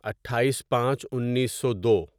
اٹھائیس پانچ انیسو دو